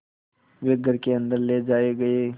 वे घर के अन्दर ले जाए गए